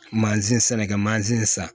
Mansin sɛnɛkɛ mansin san